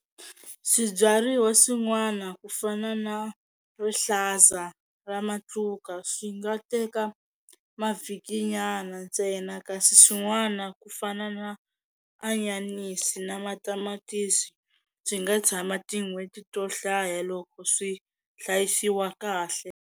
Swibyariwa swin'wana ku fana na rihlaza ra matluka swi nga teka mavhiki nyana ntsena kasi swin'wana ku fana na anyanisi na matamatisi swi nga tshama tin'hweti to hlaya loko swi hlayisiwa kahle.